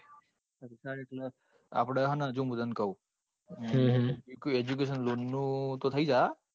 આપડે છે ને જો મુ તને કઉંહ્મ્હ્મ ત્યાં કોઈ education loan નું તો થઇ જશે.